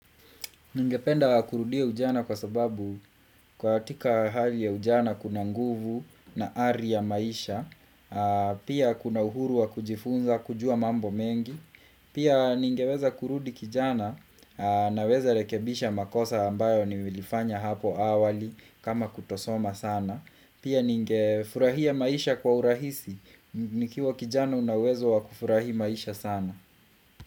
Ningependa kurudia ujana kwa sababu katika hali ya ujana kuna nguvu na ari ya maisha, pia kuna uhuru wa kujifunza kujua mambo mengi, pia ningeweza kurudi kijana naweza rekebisha makosa ambayo nilifanya hapo awali kama kutosoma sana, pia ningefurahia maisha kwa urahisi, nikiwa kijana unawezo wa kufurahi maisha sana.